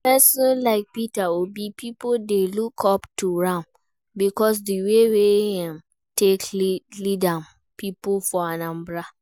Person like Peter Obi, pipo dey look up to am because of di way wey im take lead im pipo for Anambra